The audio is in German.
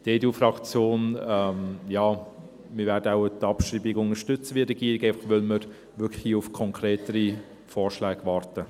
Die EDU-Fraktion … Ja, wir werden wohl die Abschreibung unterstützen – wie die Regierung –, weil wir hier wirklich einfach auf konkretere Vorschläge warten.